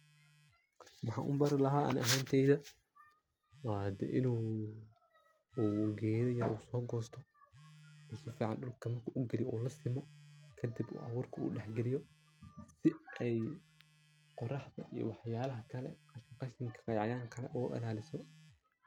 Waxan ubari laha ani ahanteyda wa hade in u geda yar sogosto oo sifican marku dulka ugaliyo oo lasimo kadib u aburka dhexgaliyo si ey qoraxda iyo waxyalaha kale ee qashinka, cayayanka ogailaliso.